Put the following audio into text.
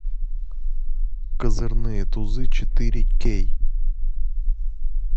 козырные тузы четыре кей